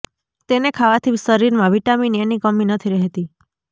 તેને ખાવાથી શરીરમાં વિટામિન એ ની કમી નથી રહેતી